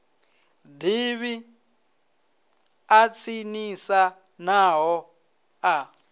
davhi ḽa tsinisa navho ḽa